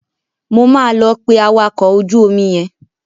Mo máa lọ pe awakọ̀ ojú omi yẹn.